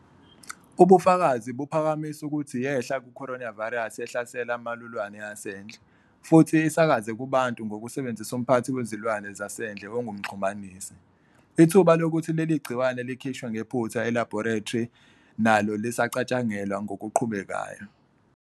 Ubufakazi buphakamisa ukuthi yehla ku-coronavirus ehlasela amalulwane asendle, futhi isakaze kubantu ngokusebenzisa umphathi wezilwane zasendle ongumxhumanisi. Ithuba lokuthi leli gciwane likhishwe ngephutha elabhorethri nalo lisacatshangelwa ngokuqhubekayo.